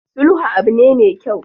Sulhu abu ne me kyau.